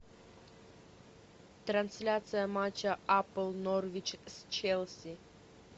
трансляция матча апл норвич с челси